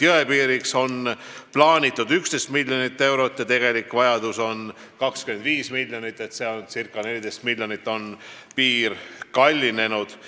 Jõepiiriks oli algselt plaanitud 11 miljonit eurot, aga tegelik vajadus on 25 miljonit, nii et see on circa 14 miljonit kallinenud.